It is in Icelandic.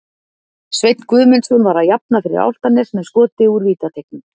Sveinn Guðmundsson var að jafna fyrir Álftanes með skoti úr vítateignum.